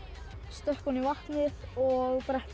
stökkva oní vatnið og bretti